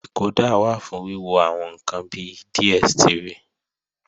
Dìkódà wà fún wíwo àwọn ǹkan bi DSTV